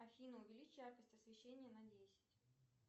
афина увеличь яркость освещения на десять